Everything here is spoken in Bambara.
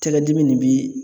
Tɛgɛdimi ne bi